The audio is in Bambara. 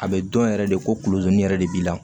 A bɛ dɔn yɛrɛ de kolodun yɛrɛ de b'i la